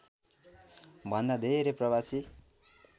भन्दा धेरै प्रवासी